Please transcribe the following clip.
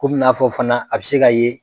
Kɔmi n'a fɔ fana a be se ka ye